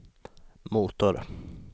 motor